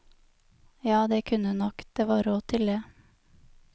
Ja, det kunne hun nok, det var råd til det.